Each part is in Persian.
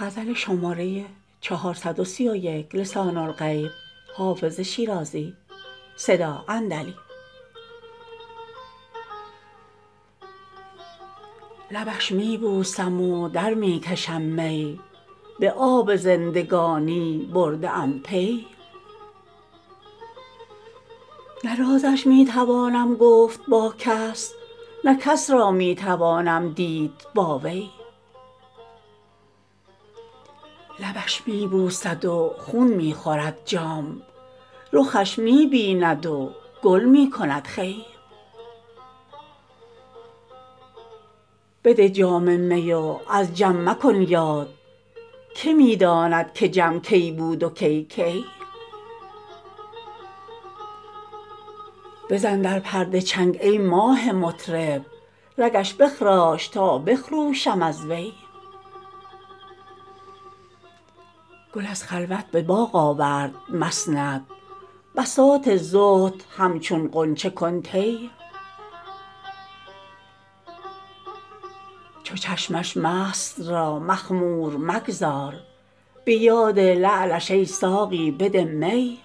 لبش می بوسم و در می کشم می به آب زندگانی برده ام پی نه رازش می توانم گفت با کس نه کس را می توانم دید با وی لبش می بوسد و خون می خورد جام رخش می بیند و گل می کند خوی بده جام می و از جم مکن یاد که می داند که جم کی بود و کی کی بزن در پرده چنگ ای ماه مطرب رگش بخراش تا بخروشم از وی گل از خلوت به باغ آورد مسند بساط زهد همچون غنچه کن طی چو چشمش مست را مخمور مگذار به یاد لعلش ای ساقی بده می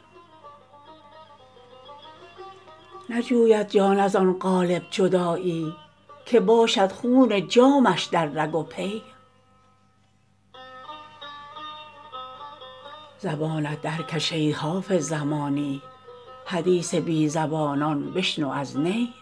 نجوید جان از آن قالب جدایی که باشد خون جامش در رگ و پی زبانت درکش ای حافظ زمانی حدیث بی زبانان بشنو از نی